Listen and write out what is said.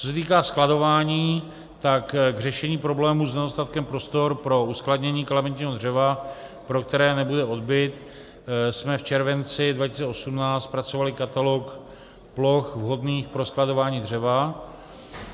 Co se týká skladování, tak k řešení problému s nedostatkem prostor pro uskladnění kalamitního dřeva, pro které nebude odbyt, jsme v červenci 2018 zpracovali Katalog ploch vhodných pro skladování dřeva.